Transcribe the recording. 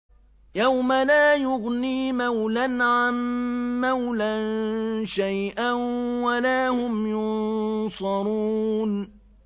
يَوْمَ لَا يُغْنِي مَوْلًى عَن مَّوْلًى شَيْئًا وَلَا هُمْ يُنصَرُونَ